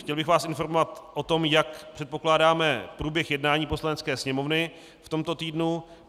Chtěl bych vás informovat o tom, jak předpokládáme průběh jednání Poslanecké sněmovny v tomto týdnu.